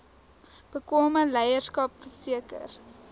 bekwame leierskap verseker